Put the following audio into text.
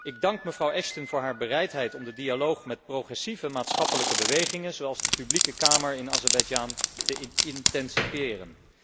Ik dank mevrouw Ashton voor haar bereidheid om de dialoog met progressieve maatschappelijke bewegingen zoals de Publieke Kamer in Azerbeidzjan te intensifiëren.